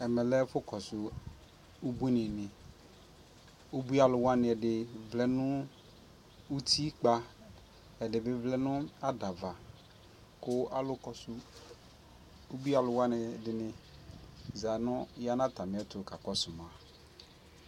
ɛmɛ lɛ ɛfʋ kɔsʋ ʋbʋi ni ni, ʋbʋi alʋ wani ɛdi vlɛ nʋ ʋtikpa ɛdi bi vlɛ nʋ adava kʋ alʋ kɔsʋ ʋbʋi alʋ wani zanʋ atami ɛtʋ ka kɔsʋ ma